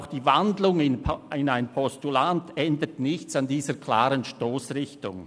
Auch die Wandlung in ein Postulat ändert nichts an dieser klaren Stossrichtung.